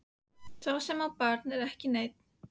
Sá sem á barn er ekki einn.